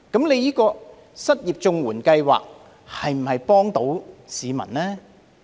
那麼，失業綜援計劃能否幫助市民呢？